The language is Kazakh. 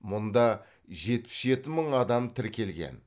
мұнда жетпіс жеті мың адам тіркелген